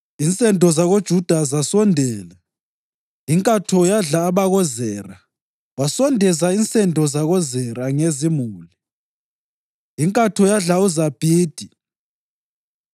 Insendo zakoJuda zasondela, inkatho yadla abakoZera. Wasondeza insendo zakoZera ngezimuli. Inkatho yadla uZabhidi.